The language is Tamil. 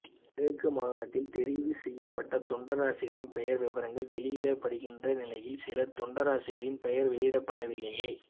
கிழக்கு மாகாணத்தில் தெரிவு செய்யப்பட்ட தொண்டராசிரியர்களின் பெயர் விபரங்கள் வௌியிடப்பட்டிருக்கின்ற நிலையில் சில தொண்டராசிரியர்களின் பெயர்கள் வௌியிடப்படவில்லையெ